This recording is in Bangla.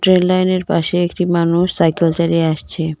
রেললাইনের পাশে একটি মানুষ সাইকেল চালিয়ে আসছে.